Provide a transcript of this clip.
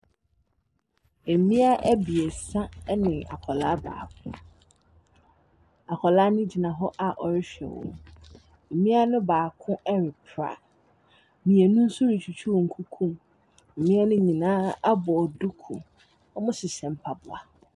Mmea abiesa ne akwadaa baako. Akwadaa no gyina hɔ a ɔrehwɛ wɔn. Mmea no baako repra. Mmienu nso retwitwi wɔn nkukuom. Mmea no nyinaa abɔ duku. Wɔhyehyɛ mpaboa.